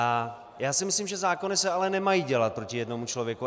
A já si myslím, že zákony se ale nemají dělat proti jednomu člověku.